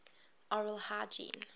oral hygiene